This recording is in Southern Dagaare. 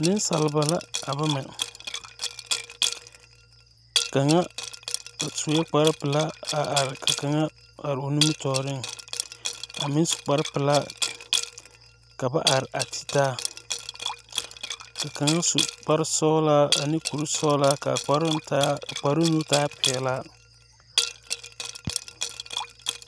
Neŋsaliba la a bama kaŋa a suee kparepelaa a are ka kaŋa are o nimitooreŋ a meŋ su kparepelaa ka ba are a titaa ka kaŋ su kparesɔglaa ane kurisɔglaa kaa kparoŋ taa kparoŋ nu taa pelaa.